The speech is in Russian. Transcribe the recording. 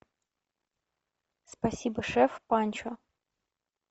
спасибо шеф панчо